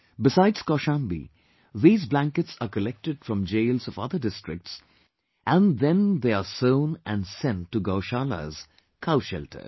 Besides Kaushambi, these blankets are collected from jails of other districts and then they are sewn and sent to gaushaalas, cow shelters